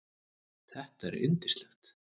Þetta er yndislegt